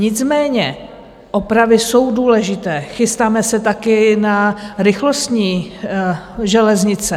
Nicméně opravy jsou důležité, chystáme se taky na rychlostní železnice.